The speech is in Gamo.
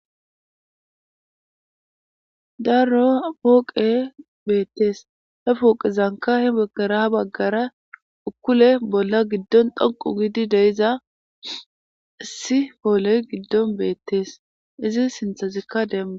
Darro pooqe beettees he pooqe zanka he baggara ha baggara ukkule bolla giddon dhonqu gidi deiza issi pooley giddon beettees izin sinthazikka demma